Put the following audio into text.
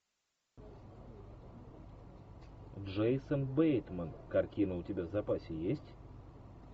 джейсон бейтман картина у тебя в запасе есть